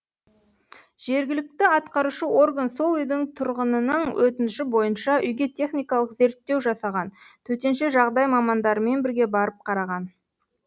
жергілікті атқарушы орган сол үйдің тұрғынының өтініші бойынша үйге техникалық зерттеу жасаған төтенше жағдай мамандарымен бірге барып қараған